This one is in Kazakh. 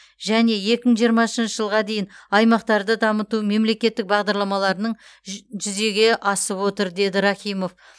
және екі мың жиырмасыншы жылға дейін аймақтарды дамыту мемлекеттік бағдарламаларының жү жүзеге асып отыр деді рахимов